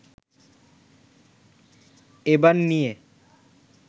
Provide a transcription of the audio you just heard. এবার নিয়ে